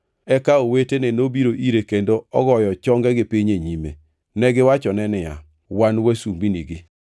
Eka owetene nobiro ire kendo ogoyo chongegi piny e nyime: Negiwachone niya, “Wan wasumbinigi.”